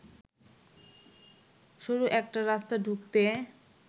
সরু একটা রাস্তায় ঢুকতে